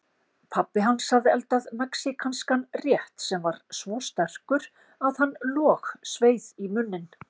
Pabbi hans hafði eldað mexíkanskan rétt sem var svo sterkur að hann logsveið í munninn.